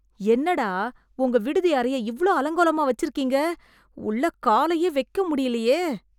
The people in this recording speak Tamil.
என்னடா, உங்க விடுதி அறையை இவ்ளோ அலங்கோலமா வெச்சுருக்கீங்க... உள்ளே காலையே வெக்கமுடியலயே..